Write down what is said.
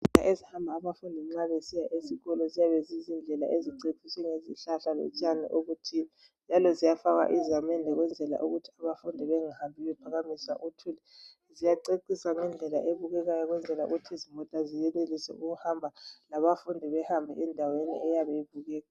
Izindlela ezihamba abafundi mabesiya esikolo ziyabe zizindlela eziceciswe ngezihlahla lotshani oluthile njalo ziyafakwa izamende ukwenzela ukuthi abafundi bengahambi bephakamisa uthuli. Ziyacecisa ngendlela ebukekayo ukwenzela ukuthi izimota ziyenelise ukuhamba labafundi behambe endaweni eyabe ibukeka.